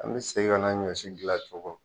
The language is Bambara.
An be segin ka na ɲɔsi gilan tugun